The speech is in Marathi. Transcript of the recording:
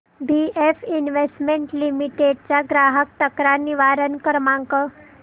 बीएफ इन्वेस्टमेंट लिमिटेड चा ग्राहक तक्रार निवारण क्रमांक